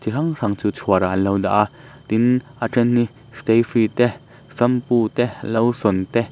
chi hrang hrang chu chhuarah an lo dah a tin a ṭhen hi stayfree te shampoo te lotion te--